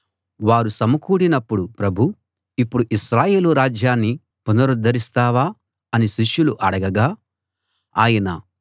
వారు సమకూడినప్పుడు ప్రభూ ఇప్పుడు ఇశ్రాయేలు రాజ్యాన్ని పునరుద్ధరిస్తావా అని శిష్యులు అడగగా ఆయన